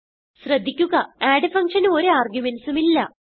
ശ്രദ്ധിക്കുക അഡ് functionന് ഒരു ആർഗുമെന്റ്സ് ഉം ഇല്ല